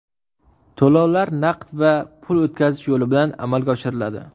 To‘lovlar naqd va pul o‘tkazish yo‘li bilan amalga oshiriladi.